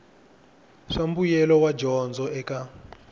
swa mbuyelo wa dyondzo eka